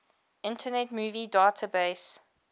internet movie database